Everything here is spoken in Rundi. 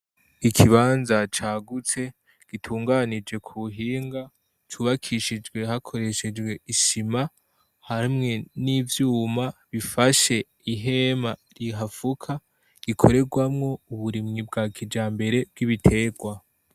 Ikibanza cagutse gitunganije ku buhinga cubakishijwe hakoreshejwe isima; hamwe n'ivyuma bifashe ihema rihafuka gikorerwamwo uburimyi bwa kijambere bw'ibiterwa.